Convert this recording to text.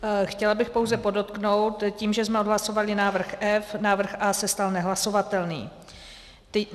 Chtěla bych pouze podotknout, tím, že jsme odhlasovali návrh F, návrh A se stal nehlasovatelným.